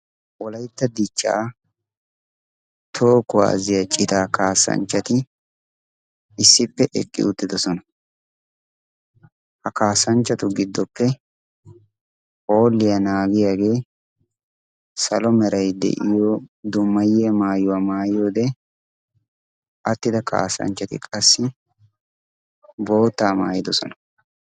Wolaytta dichchaa toho kuwaaziya citaa kaasanchchati issippe eqqi uttidosona ha kaasanchchatu giddoppe hooliyaa naagiyaagee salomerai de'iyo dumayiya maayuwaa maayiyoode attida kaasanchchati qassi boottaa maayidosona.